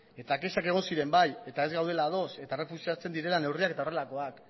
eta kexak egon ziren bai eta ez gaudela ados eta errefuxatzen direla neurriak eta horrelakoak